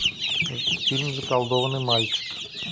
фильм заколдованный мальчик